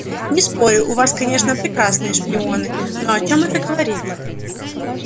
не спорю у вас конечно прекрасные шпионы но о чём это говорит